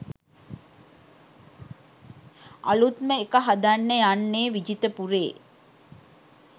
අලුත්ම එක හදන්න යන්නේ විජිතපුරේ